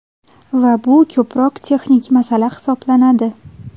Va bu ko‘proq texnik masala hisoblanadi.